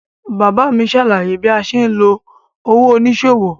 Bàbá mi ṣàlàyé bí a ṣe ń lo òwò oníṣòwò.